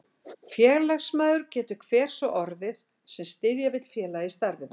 Félagsmaður getur hver sá orðið, sem styðja vill félagið í starfi þess.